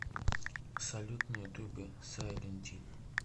салют на ютубе сайленти